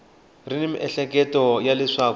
ri ni miehleketo ya leswaku